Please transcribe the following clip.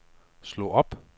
slå op